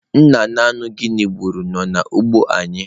Nna nnụnụ Guinea gburu nọ n'ugbo anyị.